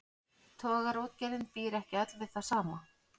Togaraútgerðin býr ekki öll við það sama.